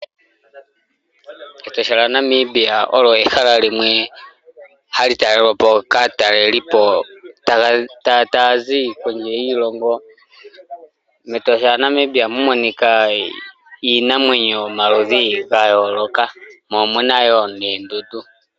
Etosha lya Namibia olyo ehala limwe hali talelwapo kaatalelipo ta yazi kondje yiilongo. Metosha lya Namibia ohamu monika iinamwenyo ya yooloka, mo omuna woo noondundu.